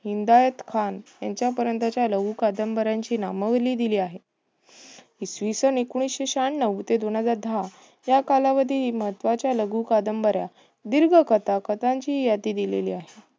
लिंगायत खान यांच्या पर्यंतच्या लघु कादंबऱ्यांची नामावली दिली आहे. इसवी सन एकोणिशे शहाण्णव ते दोनहजार दहा या कालावधीतील महत्वाच्या लघुकादंबऱ्या दीर्घकथा कथांची यादी दिलेली आहे.